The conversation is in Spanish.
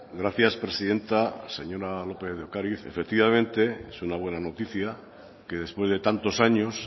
gracias presidenta señora lópez de ocariz efectivamente es una buena noticia que después de tantos años